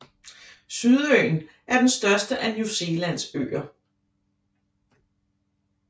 Sydøen er den største af New Zealands øer